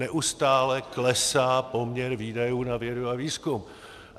Neustále klesá poměr výdajů na vědu a výzkum.